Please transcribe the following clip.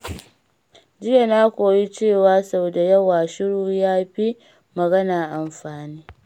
Jiya na koyi cewa sau da yawa, shiru ya fi magana amfani.